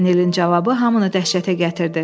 Paganelin cavabı hamını dəhşətə gətirdi.